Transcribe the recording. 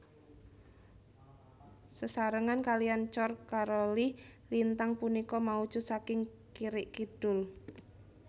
Sesarengan kaliyan Cor Caroli lintang punika maujud saking kirik kidul